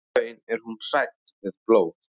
Í raun er hún hrædd við blóð.